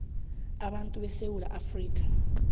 abantu esewula afrika